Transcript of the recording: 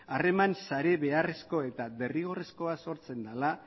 harreman sare beharrezko eta derrigorrezkoa sortzen dela